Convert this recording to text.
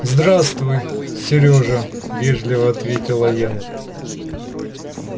здравствуй сережа вежливо ответила я